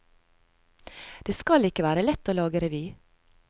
Det skal ikke være lett å lage revy.